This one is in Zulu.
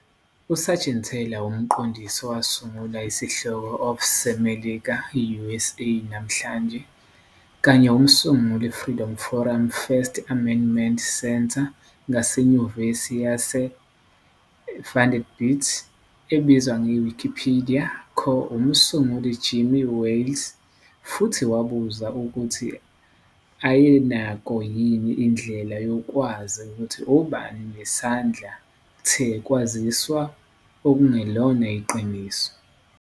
USeigenthaler, umqondisi owasungula isihloko of seMelika, USA, namhlanje, kanye umsunguli Freedom Forum First Amendment Center ngaseNyuvesi yaseVanderbilt, ebizwa Wikipedia co-umsunguli Jimmy Wales futhi wabuza ukuthi ayenakho yini indlela yokwazi ukuthi obani nesandla the ukwaziswa okungelona iqiniso.